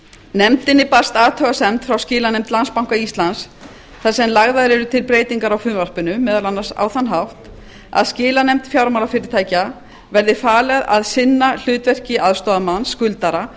nefndinni barst athugasemd frá skilanefnd landsbanka íslands þar sem lagðar eru til breytingar á frumvarpinu meðal annars á þann hátt að skilanefnd fjármálafyrirtækja verði falið að sinna hlutverki aðstoðarmanns skuldara